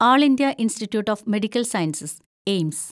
all India institute of medical sciences (AIIMS)